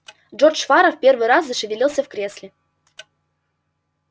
джордж фара в первый раз зашевелился в кресле